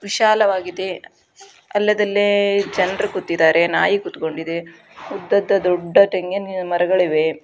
ವಿಶಾಲವಾಗಿದೆ. ಅಲ್ಲೆದಲ್ಲೇ ಜನರು ಕುತ್ತಿದ್ದಾರೆ ನಾಯಿ ಕುತಗೊಂಡಿದೆ ಉದ್ದದ್ ದೊಡ್ಡ ತೆಂಗಿನ ಮರಗಳ ಇವೆ.